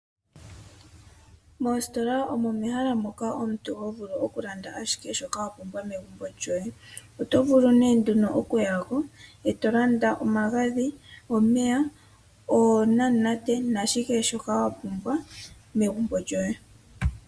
Moositola omo mehala moka omuntu tovulu okulanda ashihe shoka omuntu wapumbwa megumbo lyoye. Otovulu nee nduno okuyako, e tolanda omagadhi, omeya, oonamunate, nakehe shimwe shoka wapumbwa megumbo lyoye.